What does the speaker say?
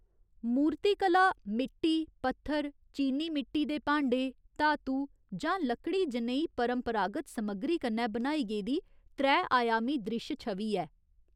मूर्तिकला मिट्टी, पत्थर, चीनी मिट्टी दे भांडे, धातु, जां लकड़ी जनेही परंपरागत समग्गरी कन्नै बनाई गेदी त्रै आयामी द्रिश्श छवि ऐ।